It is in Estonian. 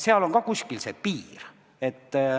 Seal on ka kuskil see piir.